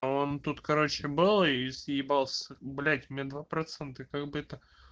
он тут короче был и съебался блять у меня два процента как бы это